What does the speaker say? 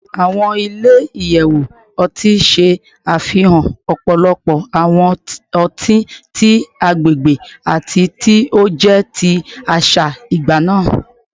Awọn ile-iyẹwu ọti ṣe afihan ọpọlọpọ awọn ọti ti agbegbe ati ti o jẹ ti aṣa nigbana